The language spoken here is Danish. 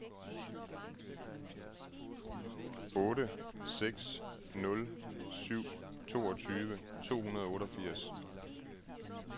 otte seks nul syv toogtyve to hundrede og otteogfirs